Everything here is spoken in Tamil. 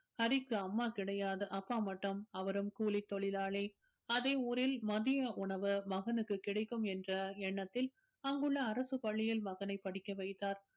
ஹரிக்கு அம்மா கிடையாது அப்பா மட்டும் அவரும் கூலித் தொழிலாளி அதே ஊரில் மதிய உணவு மகனுக்குக் கிடைக்கும் என்ற எண்ணத்தில் அங்குள்ள அரசுப் பள்ளியில் மகனைப் படிக்க வைத்தார்